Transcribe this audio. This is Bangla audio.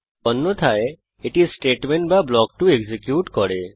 অন্যথায় এটি স্টেটমেন্ট বা ব্লক 2 এক্সিকিউট করে